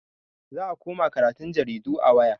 Za a koma karatun jaridu a waya.